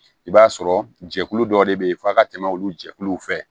I b'a sɔrɔ jɛkulu dɔ de bɛ yen f'a ka tɛmɛ olu jɛkuluw fɛ